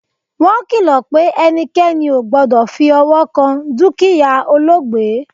wọn kìlò̩ pe ẹnikẹni ò gbọdọ̀ fi ọwọ́ kan dúkìyá olóògbé